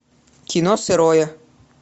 кино сырое